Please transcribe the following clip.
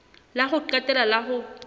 la ho qetela la ho